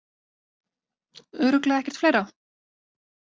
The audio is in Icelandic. Örugglega ekkert fleira?